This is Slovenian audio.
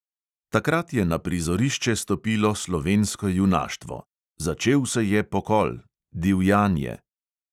Takrat je na prizorišče stopilo slovensko junaštvo, začel se je pokol, divjanje.